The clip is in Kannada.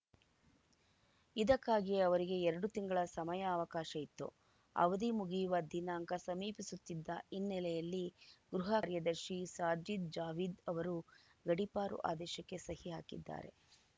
ಇದಕ್ಕಾಗಿ ಅವರಿಗೆ ಎರಡು ತಿಂಗಳ ಸಮಯಾವಕಾಶ ಇತ್ತು ಅವಧಿ ಮುಗಿಯುವ ದಿನಾಂಕ ಸಮೀಪಿಸುತ್ತಿದ್ದ ಹಿನ್ನೆಲೆಯಲ್ಲಿ ಗೃಹ ಕಾರ್ಯದರ್ಶಿ ಸಾಜಿದ್‌ ಜಾವೀದ್‌ ಅವರು ಗಡೀಪಾರು ಆದೇಶಕ್ಕೆ ಸಹಿ ಹಾಕಿದ್ದಾರೆ